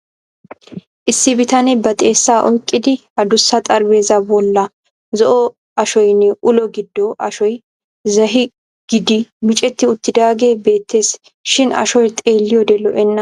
Issi bitanee ba xeessaa oyqqidi adussa xaraphpheezzaa bolli zo'o ashoynne ulo gido ashoy zahi giidi micceti uttidaagee beettees shin ashoy xeelliyode lo'enna.